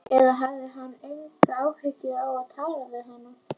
Eða hafði hann engan áhuga á að tala við hana?